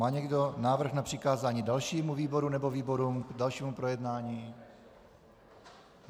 Má někdo návrh na přikázání dalšímu výboru nebo výborům k dalšímu projednání?